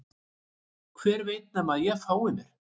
Hver veit nema að ég fái mér